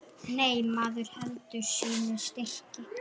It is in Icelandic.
Nei, maður heldur sínu striki.